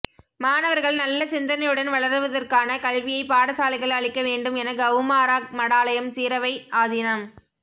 மாணவா்கள் நல்ல சிந்தனையுடன் வளருவதற்கான கல்வியை பாடசாலைகள் அளிக்க வேண்டும் என கவுமாரா மடாலயம் சிரவை ஆதீனம்